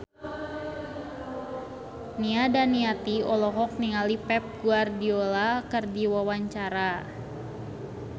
Nia Daniati olohok ningali Pep Guardiola keur diwawancara